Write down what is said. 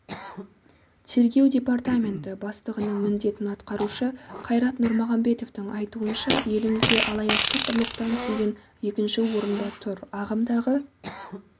тергеу департаменті бастығының міндетін атқарушы қайрат нұрмағамбетовтың айтуынша елімізде алаяқтық ұрлықтан кейін екінші орында тұр ағымдағы